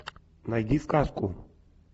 найди сказку